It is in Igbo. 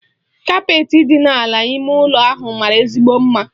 Kapeetị dị n'ala ime ụlọ ahụ mara ezigbo mma.